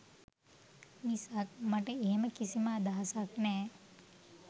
මිසක් මට එහෙම කිසිම අදහසක් නෑ.